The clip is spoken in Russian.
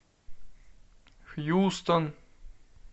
хьюстон